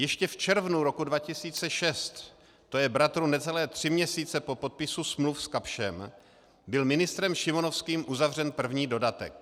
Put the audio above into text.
Ještě v červnu roku 2006, to je bratru necelé tři měsíce po podpisu smluv s Kapschem, byl ministrem Šimonovským uzavřen první dodatek.